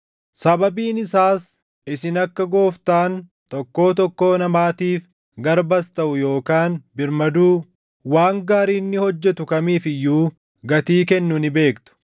sababiin isaas isin akka Gooftaan tokkoo tokkoo namaatiif garbas taʼu yookaan birmaduu, waan gaarii inni hojjetu kamiif iyyuu gatii kennu ni beektu.